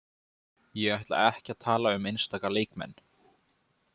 Ég ætla ekki að tala um einstaka leikmenn.